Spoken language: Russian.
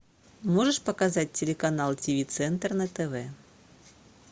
можешь показать телеканал тв центр на тв